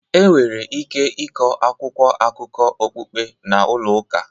Enwere ike ịkọ akwụkwọ akụkọ okpukpe na ụlọ ụka